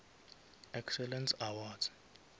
excellence awards